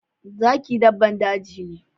Zaki daban daji ne.